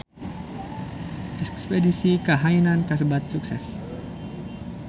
Espedisi ka Hainan kasebat sukses